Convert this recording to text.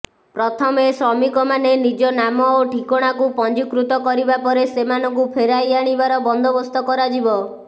ପ୍ରଥମେ ଶ୍ରମିକମାନେ ନିଜ ନାମ ଓ ଠିକଣାକୁ ପଞ୍ଜିକୃତ କରିବା ପରେ ସେମାନଙ୍କୁ ଫେରାଇ ଆଣିବାର ବନ୍ଦୋବସ୍ତ କରାଯିବ